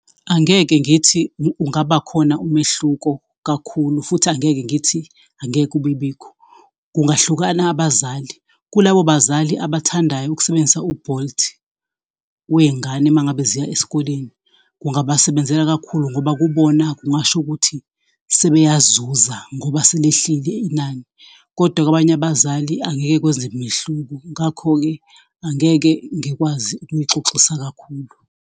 Angeke ngithi kungaba khona umehluko kakhulu futhi angeke ngithi angeke ibebikho. Kungahlukana abazali, kulabo bazali abathandayo ukusebenzisa u-Bolt wezingane uma ngabe ziya esikoleni, kungabasebenzela kakhulu ngoba kubona kungasho ukuthi sebeyazuza ngoba selehlile inani, kodwa kwabanye abazali angeke kwenze mehluko, ngakho-ke angeke ngikwazi ukunixoxisa kakhulu.